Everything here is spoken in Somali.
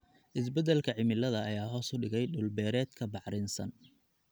Isbeddelka cimilada ayaa hoos u dhigay dhul-beereedka bacrinsan.